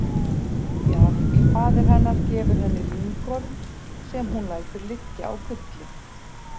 Jarl faðir hennar gefur henni lyngorm sem hún lætur liggja á gulli.